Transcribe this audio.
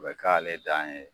A bɛ k'ale dan ye